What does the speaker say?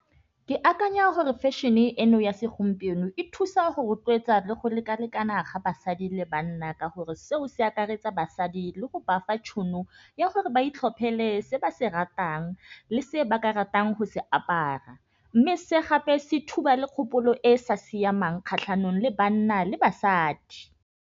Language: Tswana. Ke akanya gore fashion-e eno ya segompieno e thusa go rotloetsa le go lekalekana ga basadi le banna. Ka gore seo se akaretsa basadi le go bafa tšhono ya gore ba itlhophele se ba se ratang le se ba ka ratang go se apara, mme se gape se thuba le kgopolo e sa siamang kgatlhanong le banna le basadi.